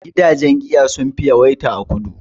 Gidajen giya sun fi yawaita a kudu